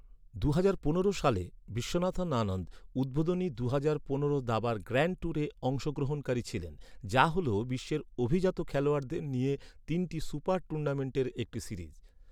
দুহাজার পনেরো সালে বিশ্বনাথন আনন্দ, উদ্বোধনী দুহাজার পনেরো দাবার গ্র্যান্ড ট্যুরে অংশগ্রহণকারী ছিলেন, যা হল বিশ্বের অভিজাত খেলোয়াড়দের নিয়ে তিনটি সুপার টুর্নামেন্টের একটি সিরিজ।